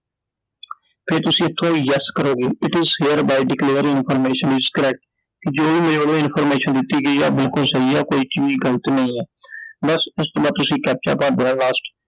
ਫੇਰ ਤੁਸੀਂ ਇਥੋਂ Yes ਕਰੋਗੇ It is hereby declared information is correct. ਜੋ ਮੇਰੇ ਵਲੋਂ information ਦਿੱਤੀ ਗਈ ਆ ਬਿਲਕੁਲ ਸਹੀ ਆ ਕੋਈ ਵੀ ਗ਼ਲਤ ਨਹੀਂ ਆ I ਬਸ ਇਸ ਤੋਂ ਬਾਅਦ ਤੁਸੀਂ captcha ਭਰ ਦੇਣਾ last